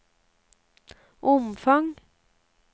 omfang